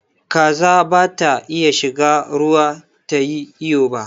Kaza ba ta iya shiga ruwa tayi iyo ba